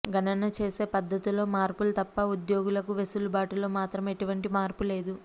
గణన చేసే పద్ధతుల్లో మార్పులు తప్ప ఉద్యోగులకు వెసులుబాటులో మాత్రం ఎటువంటి మార్పు లేదు